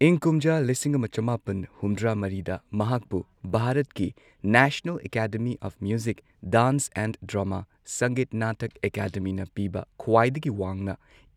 ꯏꯪ ꯀꯨꯝꯖꯥ ꯂꯤꯁꯤꯡ ꯑꯃ ꯆꯃꯥꯄꯟ ꯍꯨꯝꯗ꯭ꯔꯥ ꯃꯔꯤꯗ ꯃꯍꯥꯛꯄꯨ ꯚꯥꯔꯠꯀꯤ National Academy of Music, Dance and Drama Sangeet Natak ꯑꯦꯀꯥꯗꯃꯤꯅ ꯄꯤꯕ ꯈ꯭ꯋꯥꯏꯗꯒꯤ ꯋꯥꯡꯅ